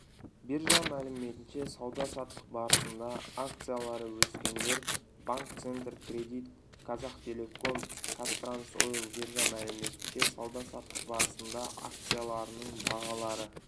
биржа мәліметінше сауда-саттық барысында акциялары өскендер банк центркредит казахтелеком казтрансойл биржа мәліметінше сауда-саттық барысында акцияларының бағалары